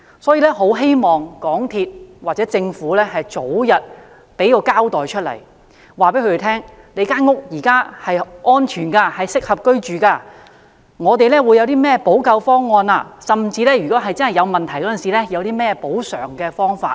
因此，我很希望港鐵公司或政府可以早日作出交代，告訴他們其現時居住的樓宇是安全和適合居住的，以及港鐵公司會採取甚麼補救方案，甚至在出現問題時會有何補償方法。